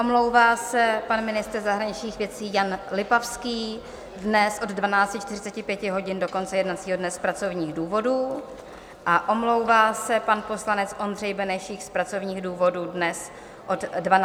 Omlouvá se pan ministr zahraničních věcí Jan Lipavský dnes od 12.45 hodin do konce jednacího dne z pracovních důvodů a omlouvá se pan poslanec Ondřej Benešík z pracovních důvodů dnes od 12.20 do 13.50 hodin.